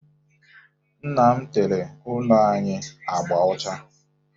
Nna m tere ụlọ anyị agba ọcha